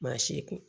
Maa si kun